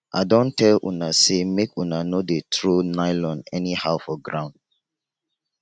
i don tell una say make una no dey throw nylon anyhow for ground